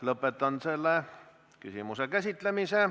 Lõpetan selle küsimuse käsitlemise.